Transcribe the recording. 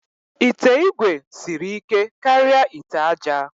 Ite igwe siri ike karịa ite aja